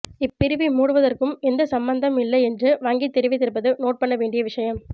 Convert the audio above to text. இப்பிரிவை மூடுவதற்கும் எந்த சம்பந்தம் இல்லை என்று வங்கி தெரிவித்திருப்பது நோட் பண்ண வேண்டிய விஷயம்